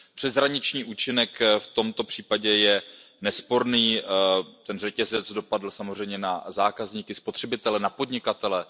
Ten přeshraniční účinek v tomto případě je nesporný, ten řetězec dopadl samozřejmě na zákazníky, spotřebitele, na podnikatele.